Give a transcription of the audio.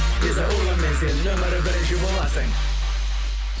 виза урбанмен сен нөмірі бірінші боласың